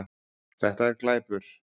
Þetta er glæpur